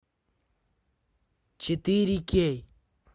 четыре кей